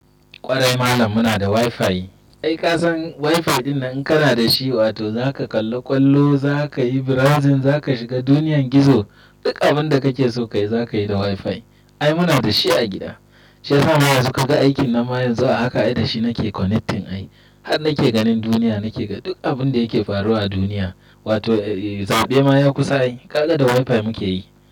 Kwarai malam muna da wifi. Ai kasan wifi dinnan in kana da shi, wato zaka kalla kwallo, zaka yi browsing, zaka shiga duniyan gizo. Duk abun da kake so kayi zaka yi da wifi. Ai muna da shi a gida. Shi yasa ma yanzu kaga aikin nan ma yanzu a haka ai da shi nake connecting. Ai har nake ganin duniya, nake ga duk abun da yake faruwa a duniya. Wato eh sau ɗaya ma ya kusa ai kaka da wifi muke yi.